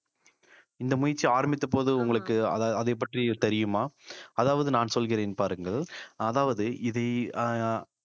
இந்த முயற்சி ஆரம்பித்த போது உங்களுக்கு அத~ அதைப் பற்றி தெரியுமா அதாவது நான் சொல்கிறேன் பாருங்கள் அதாவது இது அஹ்